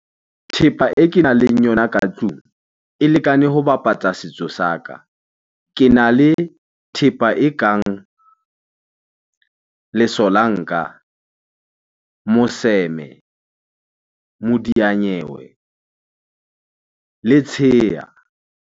Thepa e kenang le yona ka tlung e lekane ho bapatsa setso saka. Kena le thepa e kang lesolanka, moseme, modiyanyewe, le tsheya.